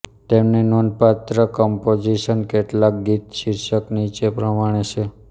તેમની નોંધપાત્ર કમ્પોઝિશન કેટલાક ગીત શીર્ષક નીચે પ્રમાણે છે